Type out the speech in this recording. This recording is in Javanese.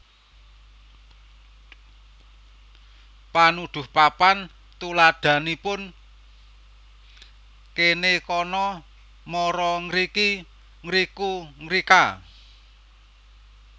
Panuduh papan tuladhanipun kene kono mara ngriki ngriku ngrika